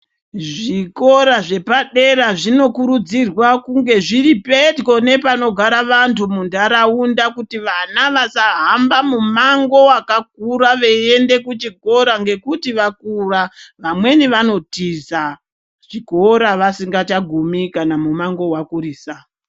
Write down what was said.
Zvikora zvepadera zvinokurudzirwa kunge zviripedyo nepanogara antu mundaraunda Kuti vana vasa hamba mumango wakakura veienda kuchikora ngekuti vakura vamweni vanotiza chikora vasinga chagumi kana mumango wakurisa.